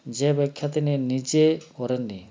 যে ব্যাখ্যা তিনি নিজে করেননি